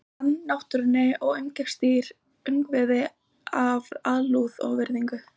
Hann ann náttúrunni og umgengst dýr og ungviði af alúð og virðingu.